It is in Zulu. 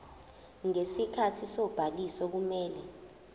ngesikhathi sobhaliso kumele